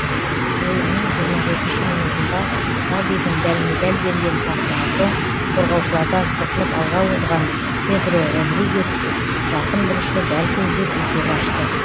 ойынның жиырма жетінші минутында хавидің дәлме дәл берген пасынан соң қорғаушылардан сытылып алға озған педро родригес жақын бұрышты дәл көздеп есеп ашты